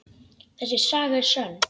Þessi saga er sönn.